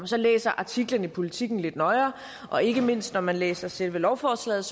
så læser artiklen i politiken lidt nøjere og ikke mindst når man læser selve lovforslaget